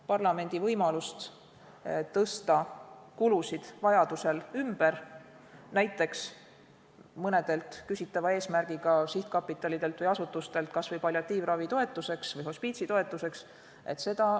Parlamendil võimalust tõsta kulusid vajaduse korral ümber, näiteks mõnelt küsitava eesmärgiga sihtkapitalilt või asutuselt kas või palliatiivravi või hospiitsi toetuseks, ei ole.